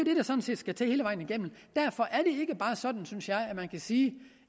skal til hele vejen igennem og sådan synes jeg at man kan sige